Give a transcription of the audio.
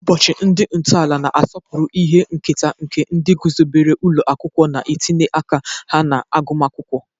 Ụbọchị ndị ntọala na-asọpụrụ ihe nketa nke ndị guzobere ụlọ akwụkwọ na ntinye aka ha na agụmakwụkwọ.